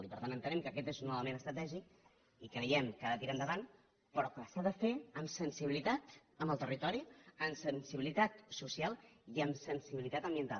i per tant entenem que aquest és un element estratègic i creiem que ha de tirar endavant però que s’ha de fer amb sensibilitat amb el territori amb sensibilitat social i amb sensibilitat ambiental